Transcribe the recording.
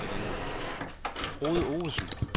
Frode Ovesen